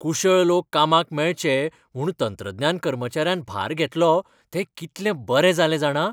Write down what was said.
कुशळ लोक कामाक मेळचे म्हूण तंत्रज्ञान कर्मचाऱ्यान भार घेतलो तें कितलें बरें जालें जाणा!